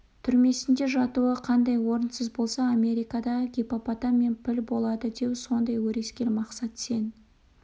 түрмесінде жатуы қандай орынсыз болса америкада гиппопотам мен піл болады деу сондай өрескел мақсат сен